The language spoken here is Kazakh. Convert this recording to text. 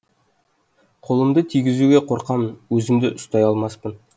қолымды тигізуге қорқамын өзімді ұстай алмаспын